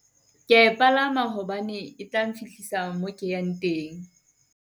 Ke ya e palama hobane etla nfihlisa mo ke yang teng.